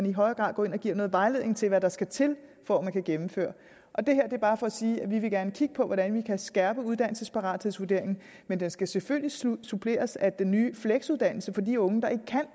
i højere grad går ind og giver noget vejledning til hvad der skal til for at man kan gennemføre det her er bare for at sige at vi gerne vil kigge på hvordan vi kan skærpe uddannelsesparathedsvurderingen men den skal selvfølgelig suppleres af den nye fleksuddannelse for de unge der ikke kan